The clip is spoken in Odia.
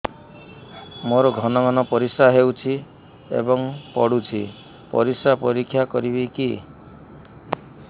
ମୋର ଘନ ଘନ ପରିସ୍ରା ହେଉଛି ଏବଂ ପଡ଼ୁଛି ପରିସ୍ରା ପରୀକ୍ଷା କରିବିକି